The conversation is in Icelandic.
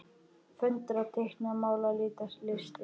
Föndra- teikna- mála- lita- listir